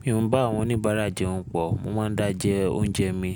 Mi ò ń bá àwọn oníbàárà jẹun pọ̀, mo máa ń dá jẹ oúnjẹ mi.